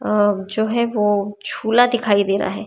अ जो है वो झूला दिखाई दे रहा है।